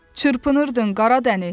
Çırpınırdın Qara Dəniz.